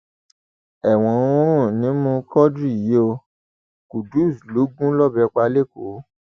ẹwọn ń rùn nímú quadri yìí o qudus ló gún lọbẹ pa lẹkọọ